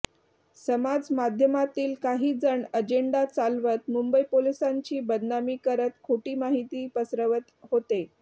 समाज माध्यमांतील काही जण अजेंडा चालवत मुंबई पोलिसांची बदनामी करत खोटी माहिती पसरवत होते